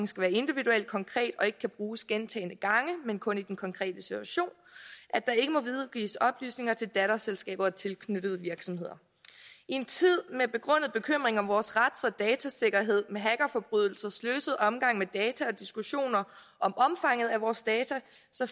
skal være individuelt konkrete og ikke kan bruges gentagne gange men kun i den konkrete situation at der ikke må videregives oplysninger til datterselskaber og tilknyttede virksomheder i en tid med begrundet bekymring om vores rets og datasikkerhed med hackerforbrydelser sløset omgang med data og diskussioner om omfanget af vores data